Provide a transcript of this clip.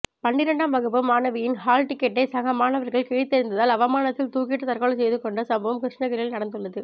பன்னிரெண்டாம் வகுப்பு மாணவியின் ஹால் டிக்கெட்டை சகமாணவர்கள் கிழித்தெறிந்ததால் அவமானத்தில் தூக்கிட்டு தற்கொலை செய்து கொண்ட சம்பவம் கிருஷ்ணகிரியில் நடந்துள்ளது